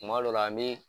Kuma dɔ la an bɛ